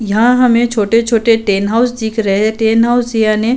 यह हमें छोटे छोटे टेन हाऊस दिख रहे। टैन हाऊस याने --